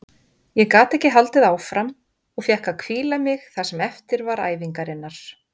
Ég gat ekki haldið áfram og fékk að hvíla mig það sem eftir var æfingarinnar.